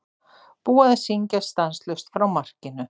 Búið að syngja stanslaust frá markinu.